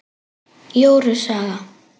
Jóru saga